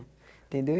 Entendeu?